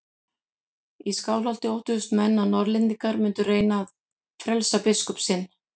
Í Skálholti óttuðust menn að Norðlendingar mundu reyna að frelsa biskup sinn.